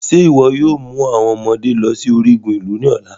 Ṣe iwọ yoo mu awọn ọmọde lọ si origun ilu ni ọla?